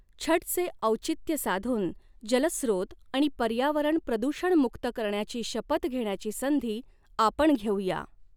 छठचे औचित्य साधून जलस्रोत आणि पर्यावरण प्रदूषणमुक्त करण्याची शपथ घेण्याची संधी आपण घेऊ या.